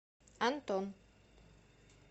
антон